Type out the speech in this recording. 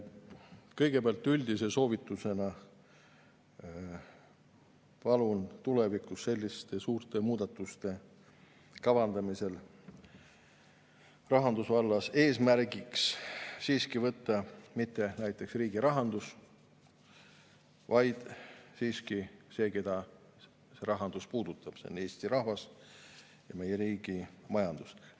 Kõigepealt, üldise soovitusena palun tulevikus selliste suurte muudatuste kavandamisel rahandusvallas eesmärgiks võtta mitte riigirahanduse, vaid siiski selle, keda see rahandus puudutab – Eesti rahva ja meie riigi majanduse.